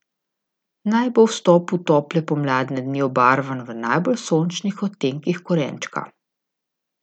Naj bo vstop v tople pomladne dni obarvan v najbolj sočnih odtenkih korenčka!